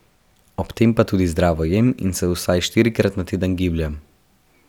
Ob tem pa tudi zdravo jem in se vsaj štirikrat na teden gibljem.